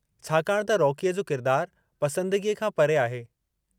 छाकाणि त रोकीअ जो किरदारु पसंदगीअ खां परे आहे।